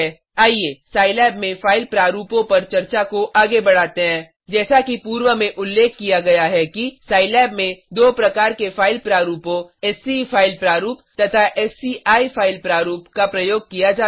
आइये सिलाब में फाइल प्रारूपों पर चर्चा को आगे बढ़ाते हैं जैसा कि पूर्व में उल्लेख किया गया है कि सिलाब में दो प्रकार के फाइल प्रारूपों सीई फ़ाइल प्रारूप तथा सीआई फ़ाइल प्रारूप का प्रयोग किया जाता है